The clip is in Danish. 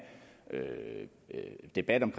debat om